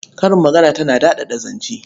Karin magana tana daɗaɗa zance.